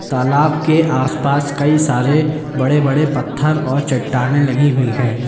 तालाब के आसपास कई सारे बड़े बड़े पत्थर और चट्टाने लगी हुई है।